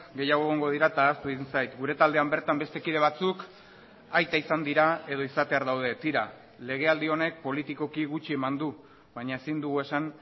gehiago egongo dira eta ahaztu egin zait gure taldean bertan beste kide batzuk aita izan dira edo izatear daude tira legealdi honek politikoki gutxi eman du baina ezin dugu esan